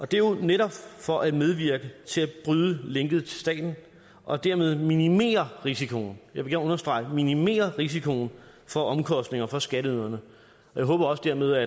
det er jo netop for at medvirke til at bryde linket til staten og dermed minimere risikoen jeg vil gerne understrege minimere risikoen for omkostninger for skatteyderne og jeg håber dermed